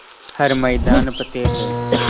हर मैदान फ़तेह